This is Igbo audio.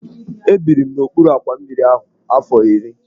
Ebiri m n'okpuru àkwà mmiri ahụ afọ iri.